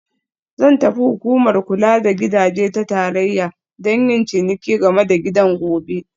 Zan tafi Hukumar Kula da Gidaje ta Tarayya don yin bincike game da gidan gobe